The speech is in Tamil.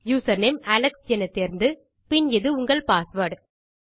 யூசர்நேம் அலெக்ஸ் என தேர்ந்து பின் இது உங்கள் பாஸ்வேர்ட்